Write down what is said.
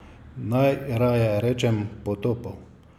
Naj raje rečem potopov?